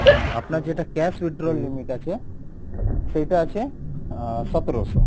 আপনার যেটা cash withdrawal limit আছে সেইটা আছে আহ সতেরোসো,